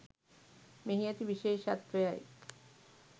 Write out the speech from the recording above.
මෙහි ඇති විශේෂත්වයයි